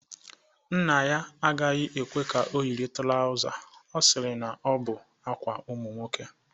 Nna ya agaghi ekwe ka ọ yiri trausa, ọ sịrị na ọ bụ ákwà ụmụ nwoke